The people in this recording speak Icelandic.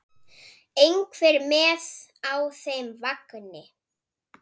Einhver með á þeim vagni?